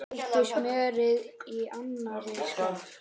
Þeyttu smjörið í annarri skál.